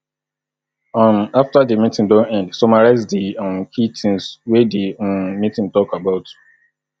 um after di meeting don end summarize di um key things things wey di um meeting talk about